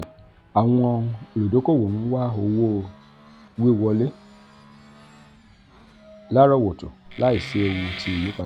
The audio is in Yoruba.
awọn oludokoowo n wa owo-wiwọle larọwọto laisi eewu ti iyipada.